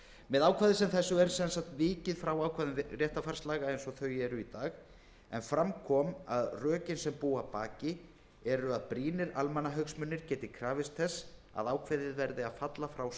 með ákvæði sem þessu er sem sagt vikið frá ákvæðum réttarfarslaga en fram kom að rökin sem búa að baki eru að brýnir almannahagsmunir geti krafist þess að ákveðið verði að falla frá saksókn